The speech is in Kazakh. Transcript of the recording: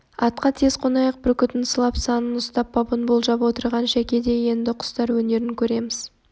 атқа тез қонайық бүркітін сылап санын ұстап бабын болжап отырған шәке де енді құстар өнерін көреміз